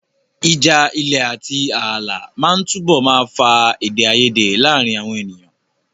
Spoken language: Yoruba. Ìjà ilẹ̀ àti ààlà máa túbọ̀ máa fa èdè àìyedè láàárín àwọn ènìyàn.